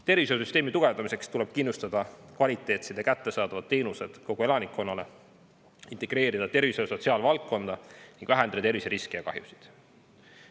Tervishoiusüsteemi tugevdamiseks tuleb kindlustada kvaliteetsed ja kättesaadavad teenused kogu elanikkonnale, integreerida tervishoiu- ja sotsiaalvaldkonda ning vähendada terviseriske ja -kahjusid.